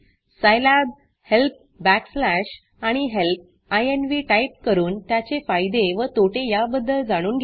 सिलाब help backslash आणि help इन्व्ह type करून त्याचे फायदे व तोटे याबद्दल जाणून घ्या